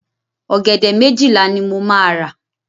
Ọ̀gẹ̀dẹ̀ méjìlá ni mo máa rà.